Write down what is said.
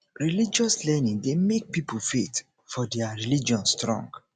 religious learning dey make pipo faith for their for their religion strong